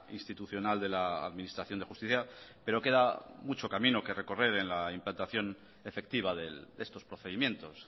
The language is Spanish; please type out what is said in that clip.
institucional de la administración de justicia pero queda mucho camino que recorrer en la implantación efectiva de estos procedimientos